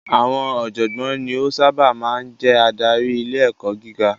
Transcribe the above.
Àwọn ọ̀jọ̀gbọ́n ni ó sábà máa ń ń jẹ́ adarí ilé ẹ̀kọ́ gíga.